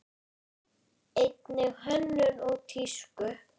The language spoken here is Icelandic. Einnig hönnun og tísku.